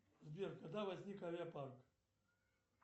сбер когда возник авиапарк